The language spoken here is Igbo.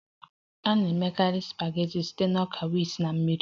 A na-emekarị supageti site na ọka wit na mmiri